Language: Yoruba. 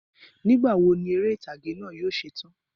Ní ìgbàwo ni eré ìtàgé náà yóò se tán?